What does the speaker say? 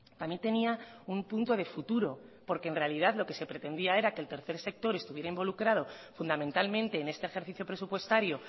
también tenía un punto de futuro porque en realidad lo que se pretendía era que el tercer sector estuviera involucrado fundamentalmente en este ejercicio presupuestario